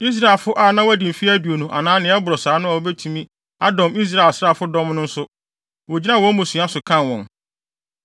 Israelfo a na wɔadi mfe aduonu anaa nea ɛboro saa no a wobetumi adɔm Israel asraafodɔm no nso, wogyinaa wɔn mmusua so kan wɔn.